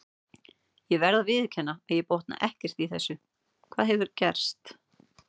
Ég verð að viðurkenna að ég botna ekkert í þessu, hvað hefur gerst?